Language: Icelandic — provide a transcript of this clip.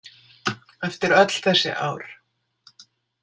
Eftir öll þessi ár.